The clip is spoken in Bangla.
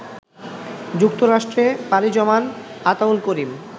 যুক্তরাষ্ট্রে পাড়ি জমান আতাউল করিম